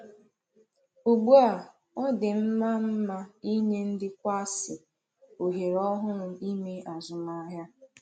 Ugbu a, ọ dị mma mma inye ndị kwààsi ohere ọhụrụ ime azụmahịa.